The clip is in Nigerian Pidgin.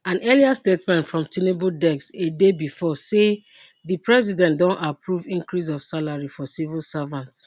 an earlier statement from tinubu desk a day before say di president don approve increase of salary for civil servants